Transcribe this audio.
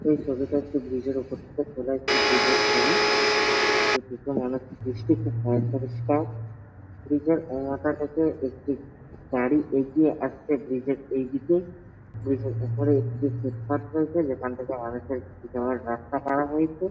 এই ছবিটা একটি ব্রীজ -এর উপর থেকে তোলা একটি ব্রীজ -এর ছবি কিন্তু দেখে মনে হচ্ছে ব্রীজ -টি খুব পয়পরিস্কার ব্রীজ -এর ও মাথা থেকে একটি গাড়ি এগিয়ে আসছে ব্রীজ -এর এই দিকে ব্রীজ -এর উপরে একটি ফুটপাথ রয়েছে যেখান থেকে রাস্তা খারাপ হয়েছে ।